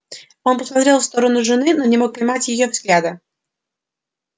он посмотрел в сторону жены но не мог поймать её взгляда